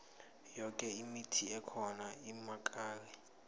yoke imithi ekhona inamakari